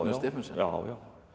Stephensen já já